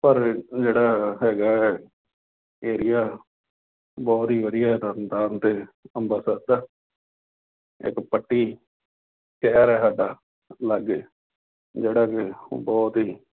ਪਰ ਜਿਹੜਾ ਹੈਗਾ ਹੈ area ਬਹੁਤ ਹੀ ਵਧੀਆ, ਤਰਨਤਾਰਨ ਅਤੇ ਅੰਮ੍ਰਿਤਸਰ ਦਾ, ਇੱਕ ਪੱਟੀ ਸ਼ਹਿਰ ਹੈ ਸਾਡਾ ਲਾਗੇ, ਜਿਹੜਾ ਕਿ ਬਹੁਤ ਹੀ